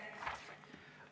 Aitäh!